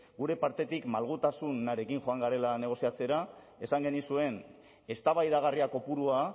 gure partetik malgutasunarekin joan garela negoziatzera esan genizuen eztabaidagarria kopurua